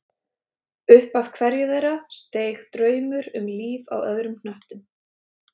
Upp af hverju þeirra steig draumur um líf á öðrum hnöttum.